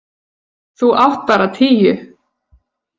Þú átt bara tíu.